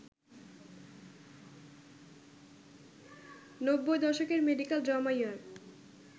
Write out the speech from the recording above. নব্বই দশকের medical drama ER